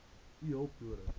u hulp nodig